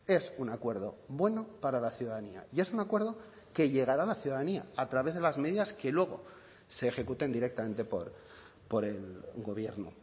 es un acuerdo bueno para la ciudadanía y es un acuerdo que llegará a la ciudadanía a través de las medidas que luego se ejecuten directamente por el gobierno